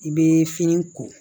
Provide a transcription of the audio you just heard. I bɛ fini ko